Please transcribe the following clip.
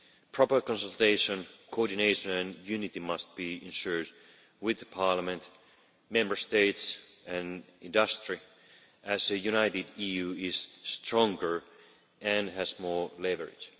Proper consultation, coordination and unity must be ensured with Parliament, Member States and industry, as a united EU is stronger and has more leverage.